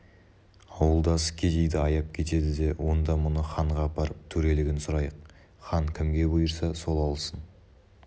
ауылдасы кедейді аяп кетеді де онда мұны ханға апарып төрелігін сұрайық хан кімге бұйырса сол алсын